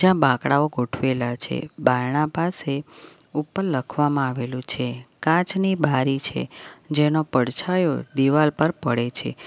બાંકડાઓ ગોઠવાયેલા છે બારણા પાસે ઉપર લખવામાં આવેલું છે કાચની બારી છે જેનો પડછાયો દીવાલ પર પડે છે.